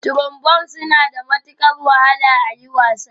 Trombones suna da matukar wahala a yi wasa